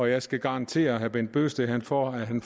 jeg skal garantere herre bent bøgsted for at han